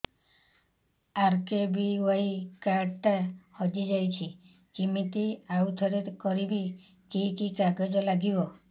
RKBY card ଟା ହଜିଯାଇଛି କିମିତି ଆଉଥରେ କରିବି କି କି କାଗଜ ଲାଗିବ